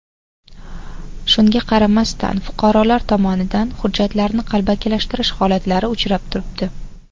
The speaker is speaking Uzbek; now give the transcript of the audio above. Shunga qaramasdan fuqarolar tomonidan hujjatlarni qalbakilashtirish holatlari uchrab turibdi.